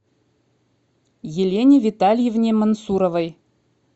елене витальевне мансуровой